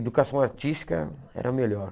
Educação artística era a melhor.